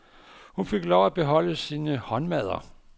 Hun fik lov at beholde sine håndmadder.